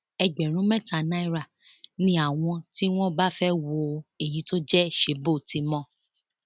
ẹgbẹrún mẹta náírà ni àwọn tí wọn bá fẹẹ wo èyí tó jẹ ṣebóòtimọ